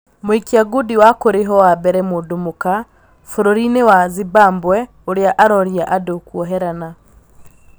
Mũikia ngundi wa kũrĩhwo wa mbere mũndũ mũka bũrũri-inĩwa Zimbabwe ũrĩa aroria andũ kuoherana.